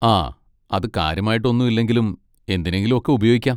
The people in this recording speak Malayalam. ആ, അത് കാര്യമായിട്ട് ഒന്നും ഇല്ലെങ്കിലും എന്തിനെങ്കിലും ഒക്കെ ഉപയോഗിക്കാം.